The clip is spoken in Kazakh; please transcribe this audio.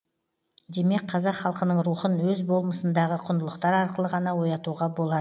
демек қазақ халқының рухын өз болмысындағы құндылықтар арқылы ғана оятуға болады